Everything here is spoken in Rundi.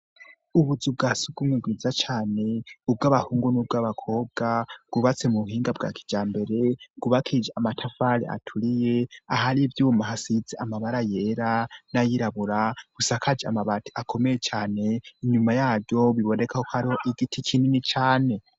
Ubuzu bwa sugumwe bwiza cane ubwo abahungu n'ubw' abakobwa bwubatse mu buhinga bwa kija mbere gubakije amatafare aturiye aho ari ivyuma hasise amabara yera n'ayirabura busakaje amabati akomeye cane inyuma yayo bibonekako ari ho igiti kinini cane.